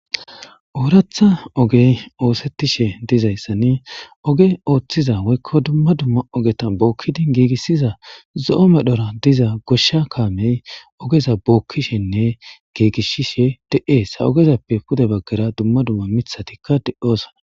ooratha ogey oosettishe dizayssani oge ooththiza woykko dumma dumma ogeta bookkidi giigissiza zo7o medhora diza goshsha kaamey ogeza bookkishenne giigishshishe de7ees ha ogezappe pude baggara dumma dumma mithatikka de7oosana